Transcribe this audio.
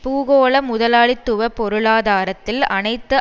பூகோள முதலாளித்துவ பொருளாதாரத்தில் அனைத்து